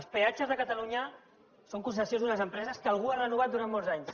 els peatges a catalunya són concessions d’unes empreses que algú ha renovat durant molts anys